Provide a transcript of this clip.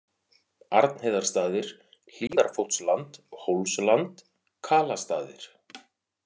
Arnheiðarstaðir, Hlíðarfótsland, Hólsland, Kalastaðir